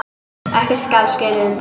Ekkert skal skilið undan.